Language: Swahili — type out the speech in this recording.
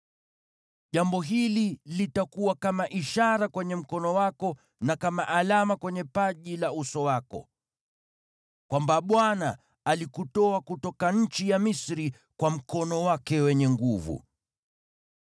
Jambo hili litakuwa kama ishara kwenye mkono wako na kama alama kwenye paji la uso wako, kwamba Bwana alikutoa katika nchi ya Misri kwa mkono wake wenye nguvu.”